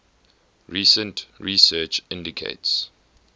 recent research indicates